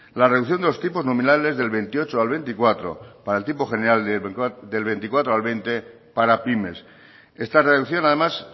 la reducción de los tipos nominales del veintiocho al veinticuatro para el tipo general del veinticuatro al veinte para pymes esta reducción además